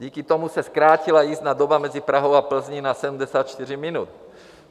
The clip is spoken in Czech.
Díky tomu se zkrátila jízdní doba mezi Prahou a Plzní na 74 minut.